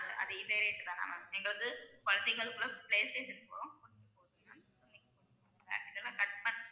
அது இதே rate தானா ma'am? எங்களுக்கு கொழந்தைகளுக்குள்ள play station அந்த இதலா cut பண்ணா